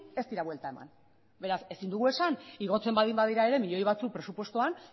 ez dira buelta eman beraz ezin dugu esan igotzen baldin badira ere milioi batzuek presupuestoan